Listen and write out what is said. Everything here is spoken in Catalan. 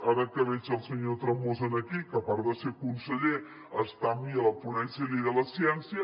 ara que veig el senyor tremosa aquí que a part de ser conseller està amb mi a la ponència de llei de la ciència